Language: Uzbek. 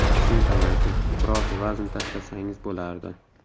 Si amaki, biroz vazn tashlasangiz bo‘lardi.